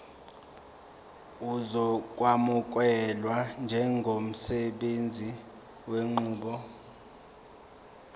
uzokwamukelwa njengosebenzisa lenqubo